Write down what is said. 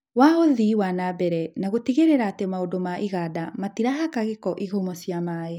wa ũthii wa na mbere na gũtigĩrĩra atĩ maũndũ ma iganda matirahaka gĩko ihumo cia maĩ.